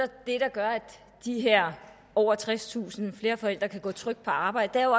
gør at de her over tredstusind flere forældre kan gå trygt på arbejde er jo